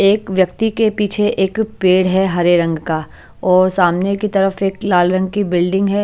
एक व्यक्ति के पीछे एक पेड़ है हरे रंग का और सामने की तरफ एक लाल रंग की बिल्डिंग है।